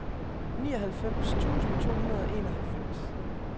nioghalvfems tusind to hundrede og enoghalvfems